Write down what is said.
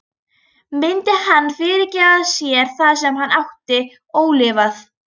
Myndi hann fyrirgefa sér það sem hann ætti ólifað?